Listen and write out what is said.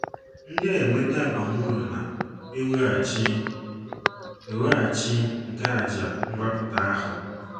ndia - enweta abamuru na - eweghachi eweghachi nke àjà mgbapụta ahụ.